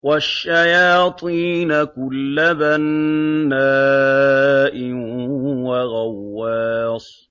وَالشَّيَاطِينَ كُلَّ بَنَّاءٍ وَغَوَّاصٍ